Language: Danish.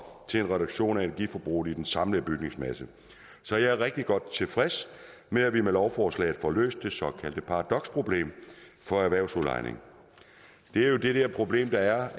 til en reduktion af energiforbruget i den samlede bygningsmasse så jeg er rigtig godt tilfreds med at vi med lovforslaget får løst det såkaldte paradoksproblem for erhvervsudlejning det er det problem der er